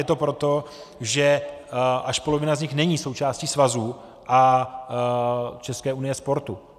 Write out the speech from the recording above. Je to proto, že až polovina z nich není součástí svazů a České unie sportu.